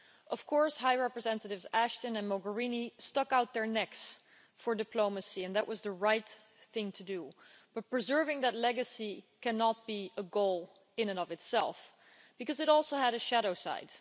Of course, High Representatives Ashton and Mogherini stuck out their necks for diplomacy, and that was the right thing to do, but preserving that legacy cannot be a goal in and of itself because it also had a shadow side.